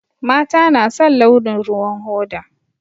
Mata na son launin ruwan hoda